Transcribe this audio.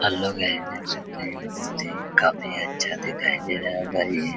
आप लोग गाइज देख सकते है बहुत ही काफी अच्छा दिखाई दे रहा है